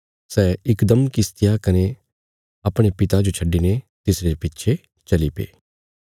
सै इकदम किश्तिया कने अपणे पिता जो छड्डिने तिसरे पिच्छे चलीपे